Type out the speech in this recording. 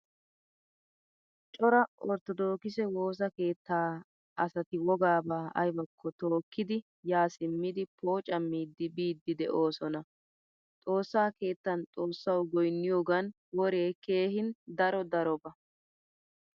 Cora orttodokise woosaa keettaa asatwoggaba aybako tookidi yaa simmidi poocamidi biidi deosona. Xoossaa keettan xoossawu goyniyogan wore keehin daro daroba.